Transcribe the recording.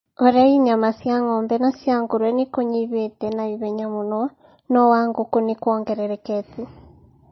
ũrei nyama cia ng'ombe na cia nguruwe nĩ kũnyihĩte na ihenya mũno, no wa ngũkũ nĩ kwongererekete.